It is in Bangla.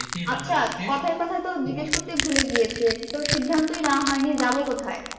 আচ্ছা কথায় কথায় তো জিজ্ঞেস করতেই ভুলে গিয়েছি, এটাতো সিদ্ধান্তই নেওয়া হয়নি যাবো কোথায়?